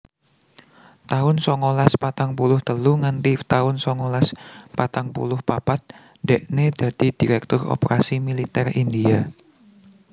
taun songolas patang puluh telu nganti taun songolas patang puluh papat dekne dadi Direktur Operasi Militer India